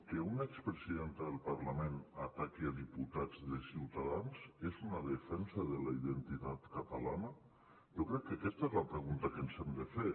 que una expresidenta d’un parlament ataqui diputats de ciutadans és una defensa de la identitat catalana jo crec que aquesta és la pregunta que ens hem de fer